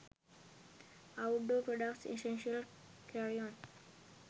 outdoor products essential carryon